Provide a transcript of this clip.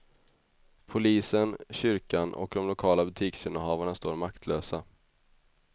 Polisen, kyrkan och de lokala butiksinnehavarna står maktlösa.